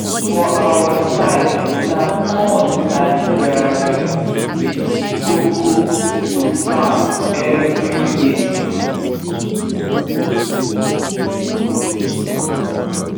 for our side na corn and garri be the koko to farm every year